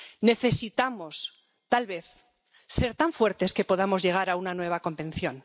Necesitamos, tal vez, ser tan fuertes que podamos llegar a una nueva convención.